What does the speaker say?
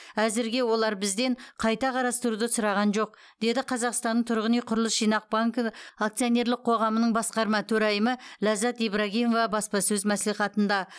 әзірге олар бізден қайта қарастыруды сұраған жоқ деді қазақстанның тұрғын үй құрылыс жинақ банкі акционерлік қоғамының басқарма төрайымы ләззат ибрагимова баспасөз мәслихатында